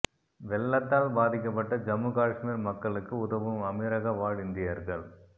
வெள்ளத்தால் பாதிக்கப்பட்ட ஜம்மு காஷ்மீர் மக்களுக்கு உதவும் அமீரக வாழ் இந்தியர்கள்